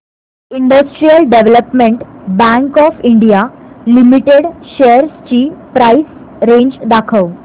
industrial development bank of India limited shares ची price range दाखव